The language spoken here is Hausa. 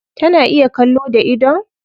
Tana iya kallo da idon?